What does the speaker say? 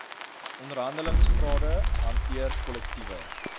onderhandelingsrade hanteer kollektiewe